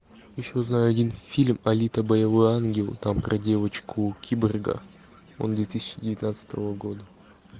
еще знаю один фильм алита боевой ангел там про девочку киборга он две тысячи девятнадцатого года